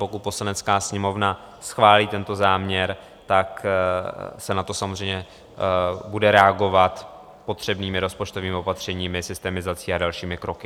Pokud Poslanecká sněmovna schválí tento záměr, tak se na to samozřejmě bude reagovat potřebnými rozpočtovými opatřeními, systemizací a dalšími kroky.